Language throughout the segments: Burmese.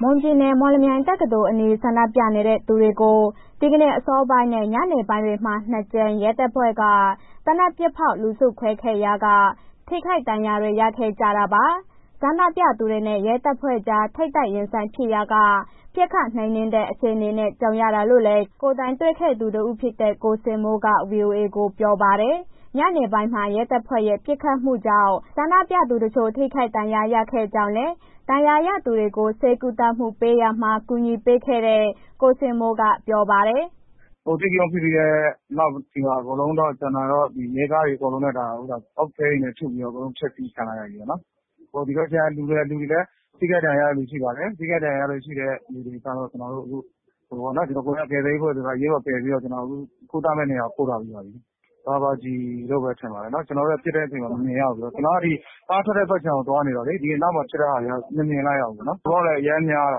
မွန်ပြည်နယ် မော်လမြိုင်တက္ကသိုလ်အနီး ဆန္ဒပြနေတဲ့သူတွေကို ဒီနေ့အစောပိုင်းနဲ့ ညနေပိုင်းတွေမှာ ၂ ကြိမ် ရဲတပ်ဖွဲ့က သေနတ်ပစ်ဖောက် လူစုခွဲခဲ့ရာက ထိခိုက်ဒဏ်ရာတွေ ရခဲ့ကြတာပါ။ ဆန္ဒပြသူတွေနဲ့ ရဲတပ်ဖွဲ့ကြား ထိပ်တိုက်ရင်ဆိုင်ဖြစ်ရာက ပစ်ခတ်နှိမ်နင်းတဲ့ အခြေအနေနဲ့ ကြုံရတာလို့လည်း ကိုယ်တိုင်တွေ့ခဲ့သူတဦးဖြစ်တဲ့ ကိုဇင်မိုးက ဗွီအိုအေကို ပြောပါတယ်။ ညနေပိုင်းမှာ ရဲတပ်ဖွဲ့ရဲ့ ပစ်ခတ်မှုကြောင့် ဆန္ဒပြသူတချို့ ထိခိုက်ဒဏ်ရာရခဲ့ကြောင်းလည်း ဒဏ်ရာရသူတွေကို ဆေးကုသမှုပေးရာမှာ ကူညီပေးခဲ့တဲ့ ကိုဇင်မိုးကပြောပါတယ်။ “အဓိကရုဏ်း ဖြစ်ပြီးတဲ့နောက် အဲဒီမှာ ရဲကားတွေ အကုန်လုံး အုတ်ခဲနဲ့ ထုပြီးတော့ အကုန်လုံး ဖျက်စီးခံလိုက်ရတယ်ပေါ့နော်။ ဒီဘက်ခြမ်းလူကလည်း ထိခိုက်ဒဏ်ရာရတဲ့ လူတွေရှိပါတယ်။ ထိခိုက်ဒဏ်ရာရတဲ့ လူတွေကျတော့ ကျနော်တို့ အခု အရေးပေါ် ကယ်ဆယ်ရေးအဖွဲ့ ကျနော်တို့ကုသမယ့်နေရာကို ပို့ထားပြီးပါပြီ။ ရာဘာကျည်လို့ပဲ ထင်တယ်ပေါ့နော်။ ကျနော်တို့က ပစ်တဲ့ အချိန်မမြင်ရဘူးဆိုတော့ ကျနော်က ဒီကားထွက်တဲ့ဘက်ခြမ်းမှာ သွားနေတာလေ။ အနောက်မှာဖြစ်တဲ့ဟာက မမြင်လိုက်ရဘူး၊ လူကလည်း အရမ်းများတာ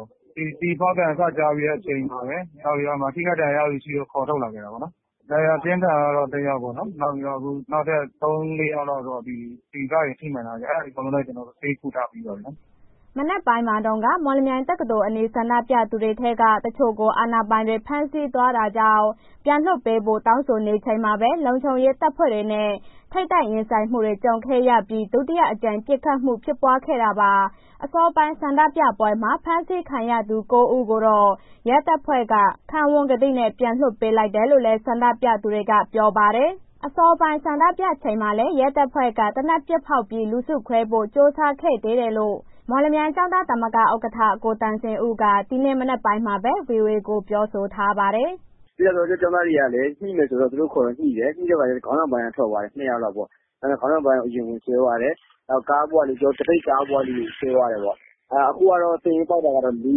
ကို ကျည်ဖောက်သံစကြားပြီးတဲ့ အချိန်မှာပဲ အဲ့ဒီမှာထိခိုက်ဒဏ်ရာရတဲ့ လူ ခေါ်ထုတ်တယ်ပေါ့နော်။ ဒဏ်ရာပြင်းထန်ကတော့ တစ်ယောက်ပေ့ါနော်၊ နောက်ထပ် သုံး၊ လေးယောက်က ထိမှန်းထားတယ် အဲ့ဒါတွေလည်း အကုန်လုံးလည်း ဆေးကုသထားပြီးပါပြီ။” မနက်ပိုင်းမှာတုန်းက မော်လမြိုင်တက္ကသိုလ်အနီး ဆန္ဒပြသူတွေထဲက တချို့ကို အာဏာပိုင်တွေ ဖမ်းဆီးသွားတာကြောင့် ပြန်လွှတ်ပေးဖို့ တောင်းဆိုနေချိန်မှာပဲ လုံခြုံရေးတပ်ဖွဲ့တွေနဲ့ ထိပ်တိုက်ရင်ဆိုင်မှုတွေ ကြုံခဲ့ရပြီး ဒုတိယအကြိမ် ပစ်ခတ်မှုဖြစ်ခဲ့တာပါ။ အစောပိုင်း ဆန္ဒပြပွဲမှာ ဖမ်းဆီးခံရသူ ကိုး ဦးကိုတော့ ရဲတပ်ဖွဲ့က ခံဝန်ကတိနဲ့ ပြန်လွှတ်ပေးလိုက်တယ်လို့လည်း ဆန္ဒပြသူတွေက ပြောပါတယ်။ အစောပိုင်း ဆန္ဒပြချိန်မှာလည်း ရဲတပ်ဖွဲ့က သေနတ်ပစ်ဖောက်ပြီး လူစုခွဲဖို့ ကြိုးစားခဲ့သေးတယ်လို့ မော်လမြိုင်ကျောင်းသားသမဂ္ဂ ဥက္ကဋ္ဌ ကိုသံစဉ်ဦးက ဒီနေ့မနက်ပိုင်းမှာပဲ ဗွီအိုအေကို ပြောဆိုထားပါတယ်။ “ကျောင်းသားတွေကလည်း ညှိမယ်ဆိုတော့ သူတို့ခေါ်တော့ညှိတယ်။ ညှိတဲ့အခါတော့ ခေါင်းဆောင်ပိုင်းက ထွက်သွားတယ်... နှစ်ယောက်လောက်ပေါ့။ ခေါင်းဆောင်ပိုင်းကို အရင်ဝင်ဆွဲသွားတယ်။ နောက် သပိတ်ကားပေါ်က လူတွေကို ဆွဲသွားတယ်ပေါ့။ အခုကတော့ စာရင်းကောက်ထားတာ လေး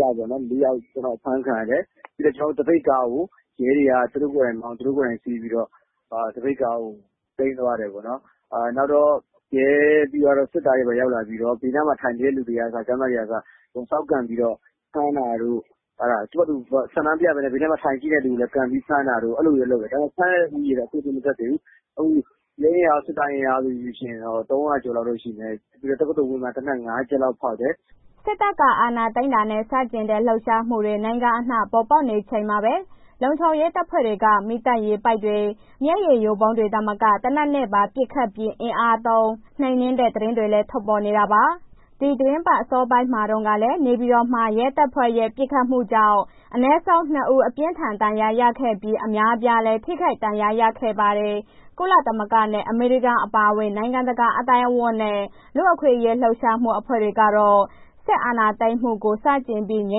ယောက်ပေါ့နော်.. အဖမ်းခံရတယ်။ ပြီးတော့ ကျနော်တို့ သပိတ်ကားကို ရဲတွေက သူတို့ကိုယ်တိုင်မောင်း သူတို့ကိုယ်တိုင်စီးပြီးတော့ သပိတ်ကားကို သိမ်းသွားတယ်ပေါ့နော်။ နောက်တော့ ရဲပြီးသွားတော့ စစ်သားတွေ၊ ဘာတွေရောက်လာပြီးတော့ ဘေးနားမှာ ထိုင်နေတဲ့ လူတွေကအစ ကျောင်းသားတွေကအစ အကုန်စောင့်ကန်ပြီးတော့ ဖမ်းတာတို့ သူ့ဟာသူ ဆန္ဒမပြဘဲနဲ့ ဘေးနားမှာ ထိုင်ကြည့်တဲ့ လူတွေ ပြန်ပြီး ဖမ်းတာ အဲ့ဒီလိုမျိုးလုပ်တယ်၊ ဖမ်းတဲ့ ဦးရေကတော့ အခုထိ မတက်သေးဘူး။ ရဲအင်အား စစ်သားအင်အားဆိုရင် ၃၀၀ ကျော်လောက်ရှိမယ်။ ပြီးတော့ တက္ကသိုလ်ဝန်းမှာ သေနတ် ငါး ချက်လောက်ဖောက်တယ်။” စစ်တပ်က အာဏာသိမ်းတာကို ဆန့်ကျင်တဲ့ လှုပ်ရှားမှုတွေ နိုင်ငံအနှံ့ပေါ်ပေါက်နေချိန်မှာပဲ လုံခြုံရေးတပ်ဖွဲ့တွေက မီးသတ်ပိုက်တွေ၊ မျက်ရည်ယိုဗုံးတွေသာမက သေနတ်နဲ့ပါ ပစ်ခတ်ပြီး အင်အားသုံး နှိမ်နင်းတဲ့ သတင်းတွေလည်း ထွက်ပေါ်နေတာပါ။ ဒီသီတင်းပတ် အစောပိုင်းမှာတုန်းကလည်း နေပြည်တော်မှ ရဲတပ်ဖွဲ့ရဲ့ ပစ်ခတ်မှုကြောင့် အနည်းဆုံး ၂ ဦး အပြင်းအထန် ဒဏ်ရာရခဲ့ပြီး အများအပြားလည်း ထိခိုက်ဒဏ်ရာရခဲ့ပါတယ်။ ကုလသမဂ္ဂနဲ့ အမေရိကန် အပါအဝင် နိုင်ငံတကာ အသိုင်းအဝန်းနဲ့ လူ့အခွင့်အရေး လှုပ်ရှားမှု အဖွဲ့တွေကတော့ စစ်အာဏာသိမ်းမှုကို ဆန့်ကျင်ပြီး ငြိ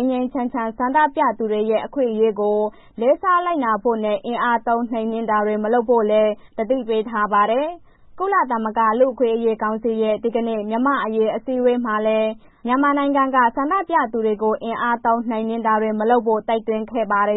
မ်းငြိမ်းချမ်းချမ်း ဆန္ဒပြသူတွေရဲ့ အခွင့်အရေးကို လေးစားလိုက်နာဖို့နဲ့ အင်အားသုံးနှိမ်နင်းတာတွေ မလုပ်ဖို့လည်း သတိပေးထားပါတယ်။ ကုလသမဂ္ဂ လူ့အခွင့်အရေးကောင်စီရဲ့ ဒီကနေ့ မြန်မာ့အရေး အထူးအစည်းအဝေးမှာလည်း မြန်မာနိုင်ငံက ဆန္ဒပြသူတွေကို အင်အားသုံးနှိမ်နင်းတာတွေ မလုပ်ဖို့ တိုက်တွန်းခဲ့ပါတယ်